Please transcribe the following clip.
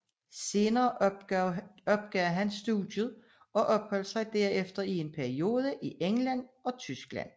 Senere opgav han dog studiet og opholdt sig derefter i en periode i England og Tyskland